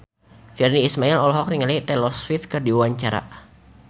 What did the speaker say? Virnie Ismail olohok ningali Taylor Swift keur diwawancara